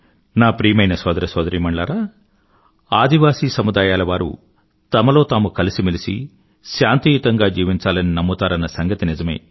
నా ప్రియమైన సోదర సొదరీమణులారా ఆదివాసీ తెగలవారు తమలో తాము కలిసిమెలసి శాంతియుతంగా జీవించాలని నమ్ముతారన్న సంగతి నిజమే